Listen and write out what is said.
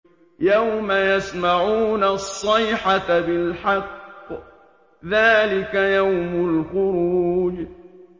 يَوْمَ يَسْمَعُونَ الصَّيْحَةَ بِالْحَقِّ ۚ ذَٰلِكَ يَوْمُ الْخُرُوجِ